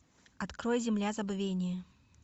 открой земля забвения